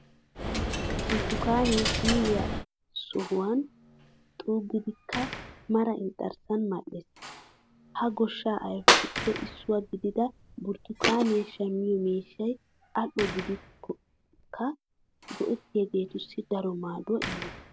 Burttukaanee siiriya sawuwan xukkidikka mara inxxarssan madhdhees. Hagoshshaa ayfetuppe issuwa gidida burttukaaniya shammiyo miishshay al"o gidiyogaadankka go"ettiyageetussi daro maaduwa immees.